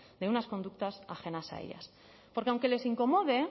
de unas conductas ajenas a ellas porque aunque les incomode